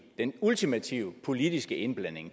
den ultimative politiske indblanding